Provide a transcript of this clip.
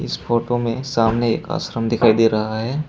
Photo में सामने एक आश्रम दिखाई दे रहा है।